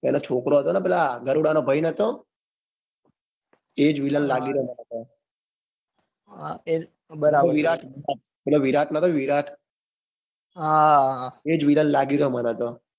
એનો છોકરો હતો ને પેલા ગરૂડા નો ભાઈ નટો. એજ villain લાગી રહ્યો છે. હા પેલો વિરાટ નતો વિરાટરર. એજ villain લાગી રહ્યો છે મનેતો.